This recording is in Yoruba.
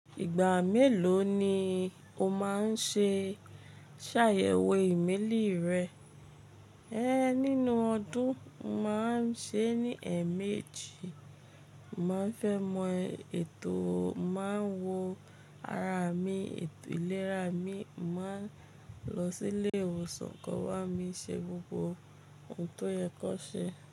Ìgbà mélòó ni o máa ń ṣe ṣàyẹ̀wò ìmẹ́lì rẹ? Ehn, nínú ọdún, màá ń ṣe é ní ẹ̀ẹ̀mejì. Màá fẹ́ mọ ètò o máa ń wo ara mi, ètò ìlera mi. Màá n lọ sílé ìwòsàn, ko wá mi ṣe gbogbo ohun tó yẹ kọ ṣe.